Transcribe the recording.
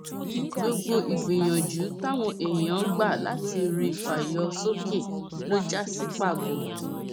gbogbo ìgbìyànjú táwọn èèyàn gbà láti rí i fà yọ sókè ló já sí pàbó